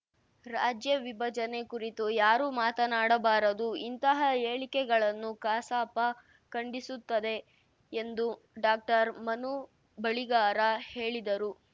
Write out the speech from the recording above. ರಾಜ್ಯವಿಭಜನೆ ಕುರಿತು ಯಾರೂ ಮಾತನಾಡಬಾರದು ಇಂತಹ ಹೇಳಿಕೆಗಳನ್ನು ಕಸಾಪ ಖಂಡಿಸುತ್ತದೆ ಎಂದು ಡಾಕ್ಟರ್ ಮನು ಬಳಿಗಾರ ಹೇಳಿದರು